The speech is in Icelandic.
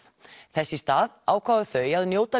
þess í stað ákváðu þau að njóta